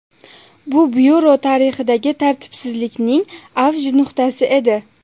Bu byuro tarixidagi tartibsizlikning avj nuqtasi edi.